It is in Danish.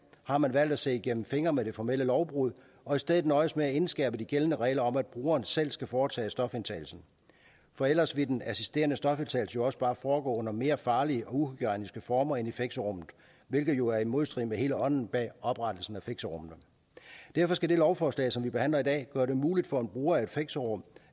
har man valgt at se igennem fingre med det formelle lovbrud og i stedet nøjes med at indskærpe de gældende regler om at brugeren selv skal foretage stofindtagelsen for ellers ville den assisterede stofindtagelse jo også bare foregå under mere farlige og uhygiejniske former end i fixerummet hvilket jo er i modstrid med hele ånden bag oprettelsen af fixerummene derfor skal det lovforslag som vi behandler i dag gøre det muligt for en bruger af et fixerum